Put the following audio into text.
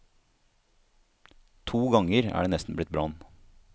To ganger er det nesten blitt brann.